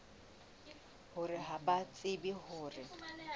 hore ha ba tsebe hore